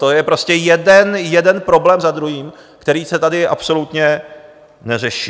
To je prostě jeden problém za druhým, který se tady absolutně neřeší.